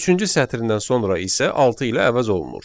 Üçüncü sətirdən sonra isə altı ilə əvəz olunur.